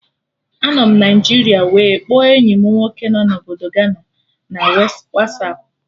Anọ m Naijiria wee kpọọ enyi mụ nwoke nọ na Obodo Gana na Wasapụ